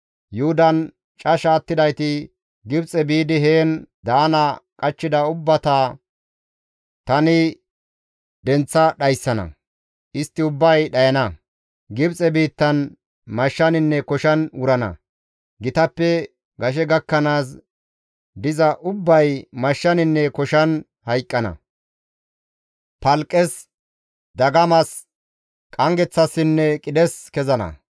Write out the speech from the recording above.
Yuhudan casha attidayti Gibxe biidi heen daana qachchida ubbata tani denththa dhayssana; istti ubbay dhayana; Gibxe biittan mashshaninne koshan wurana; gitappe gashe gakkanaas diza ubbay mashshaninne koshan hayqqana; palqqes, dagamas, qanggeththassinne qidhes kezana.